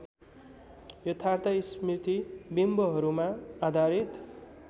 यथार्थ स्मृतिबिम्बहरूमा आधारित